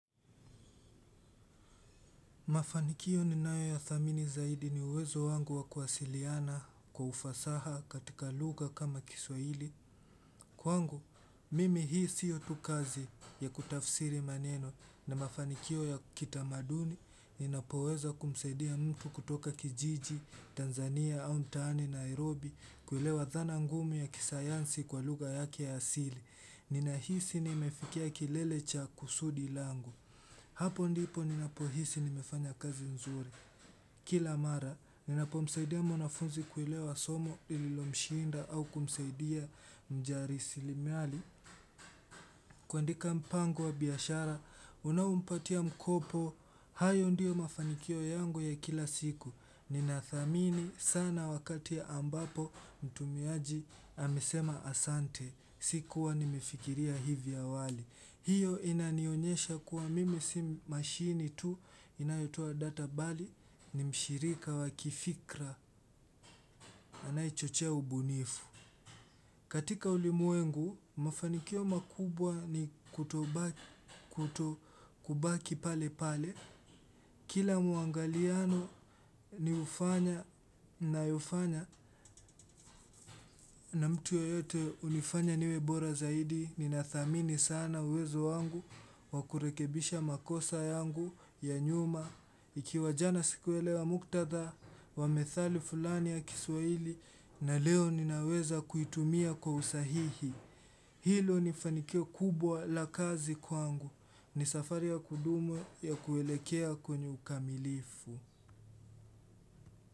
Mafanikio ninayo yathamini zaidi ni uwezo wangu wa kuwasiliana kwa ufasaha katika lugha kama kiswahili. Kwangu, mimi hii sio tu kazi ya kutafsiri maneno na mafanikio ya kitamaduni ninapoweza kumsaidia mtu kutoka kijiji Tanzania au mtaani Nairobi kuelewa dhana ngumu ya kisayansi kwa lugha yake ya asili. Ninahisi nimefikia kilele cha kusudi langu. Hapo ndipo ninapohisi nimefanya kazi nzuri. Kila mara, ninapo msaidia mwanafunzi kuelewa somo lilomshiinda au kumsaidia mjarisilimali kuandika mpango wa biashara, unaompatia mkopo. Hayo ndio mafanikio yangu ya kila siku. Ninathamini sana wakati ambapo mtumiaji amesema asante. Sikuwa nimefikiria hivi awali. Hiyo inanionyesha kuwa mimi si mashini tu inayotoa data bali ni mshirika wa kifikra anayechochea ubunifu. Katika ulimwengu, mafanikio makubwa ni kutobaki pale pale. Kila muangaliano ni ufanya nayofanya na mtu yeyote hunifanya niwe bora zaidi. Ninathamini sana uwezo wangu wa kurekebisha makosa yangu ya nyuma. Ikiwa jana sikuelewa muktatha wa methali fulani ya kiswahili na leo ninaweza kuitumia kwa usahihi. Hilo ni fanikio kubwa la kazi kwangu. Ni safari ya kudumu ya kuelekea kwenye ukamilifu.